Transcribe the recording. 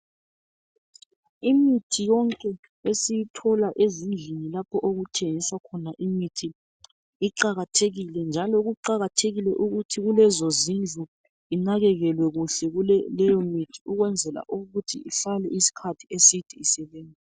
Imithi yonke esiyithola ezindlini lapho okuthengiswa khona imithi iqakathekile. Njalo kuqakathekile ukuthi kulezo zindlu inakekelwe kuhle leyo imithi .Ukwenzela ukuthi ihlale isikhathi eside isebenza .